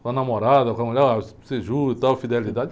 Com a namorada, com a mulher, oh você jura e tal, fidelidade?